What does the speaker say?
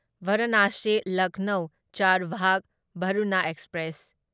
Varanasi Lucknow Charbagh Varuna express